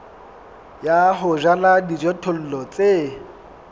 ya ho jala dijothollo tse